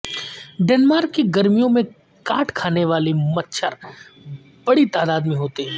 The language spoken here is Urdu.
ڈنمارک کی گرمیوں میں کاٹ کھانے والے مچھر بڑی تعداد میں ہوتے ہیں